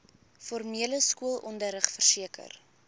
formele skoolonderrig verseker